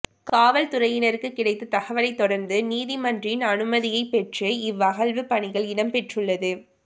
காவல்துறையினருக்கு கிடைத்த தகவலை தொடர்ந்து நீதிமன்றின் அனுமதியை பெற்று இவ் அகழ்வுப் பணிகள் இடம்பெற்றுள்ளது